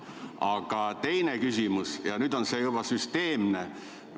Aga teine küsimus on juba süsteemne.